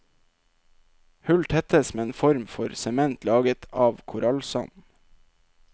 Hull tettes med en form for sement laget av korallsand.